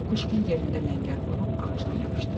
Kukuşkin yerində ləngər vurub ağacdan yapışdı.